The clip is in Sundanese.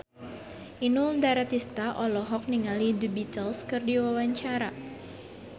Inul Daratista olohok ningali The Beatles keur diwawancara